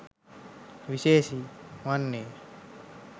සුවිශේෂී වන්නේය.